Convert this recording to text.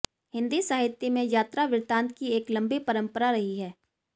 हिंदी साहित्य में यात्रा वृतांत की एक लंबी परंपरा रही है